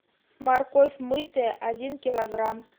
морковь мытая один килограмм